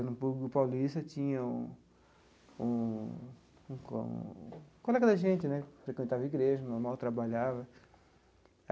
No no paulista tinha um um um co um colega da gente né, frequentava a igreja, normal, trabalhava.